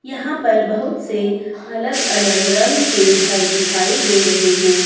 यहां पर बहुत से अलग अलग रंग के घर दिखाई दे रहे हैं।